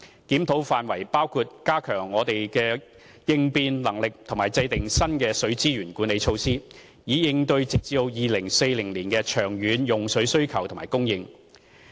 檢討範圍包括加強我們的應變能力及制訂新的水資源管理措施，以應對直至2040年的長遠用水需求及供應。